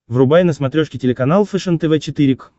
врубай на смотрешке телеканал фэшен тв четыре к